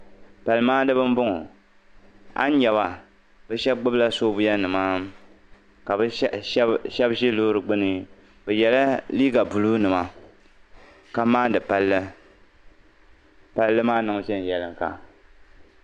Palimaandiba m-bɔŋɔ a yi nya ba bɛ shɛba gbibila soobuya ka bɛ shɛba ʒi loori gbini. Bɛ yɛla liiga buluunima ka maandi palli palli maa niŋ viɛnyɛliŋga.